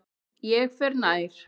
Ég fer nær.